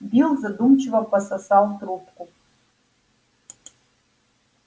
билл задумчиво пососал трубку